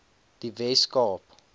die wes kaap